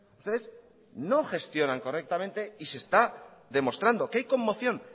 ustedes no gestionan correctamente y se está demostrando que hay conmoción